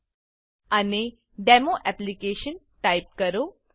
અને demo application demo application type કરો